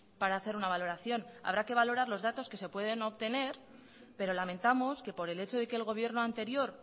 para hacer una valoración habrá que valorar los datos que se pueden obtener pero lamentamos que por el hecho de que el gobierno anterior